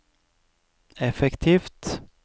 effektivt